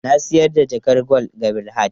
Na sayar da jakar gwal ga Bilhat.